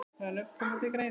Hvaða nöfn koma til greina?